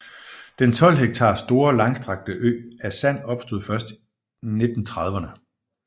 Den 12 hektar store langstrakte ø af sand opstod først 1930erne